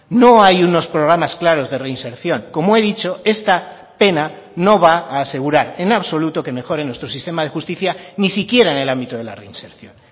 no hay unos programas claros de reinserción como he dicho esta pena no va a asegurar en absoluto que mejoren nuestro sistema de justicia ni siquiera en el ámbito de la reinserción